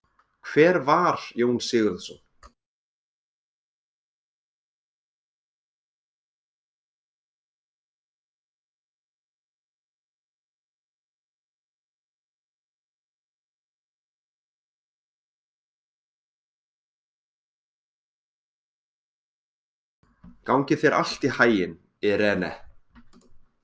Gangi þér allt í haginn, Irene.